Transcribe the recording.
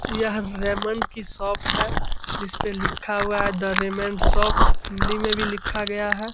यह रेमंड की शॉप है जिसपे लिखा हुआ है दी रेमंड शॉप हिंदी में भी लिखा गया है।